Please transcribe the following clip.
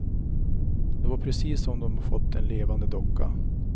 Det var precis som om de fått en levande docka.